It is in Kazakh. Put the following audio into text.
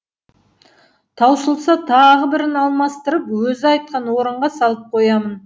таусылса тағы бірін алмастырып өзі айтқан орынға салып қоямын